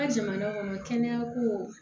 Ka jamana ŋɔnɔ kɛnɛyako